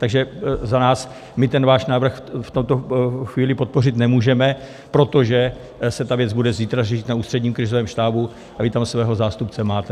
Takže za nás, my ten váš návrh v tuto chvíli podpořit nemůžeme, protože se ta věc bude zítra řešit na Ústředním krizovém štábu a vy tam svého zástupce máte.